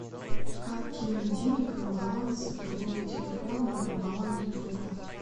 как кинуть денег на баланс другого телефона на баланс друга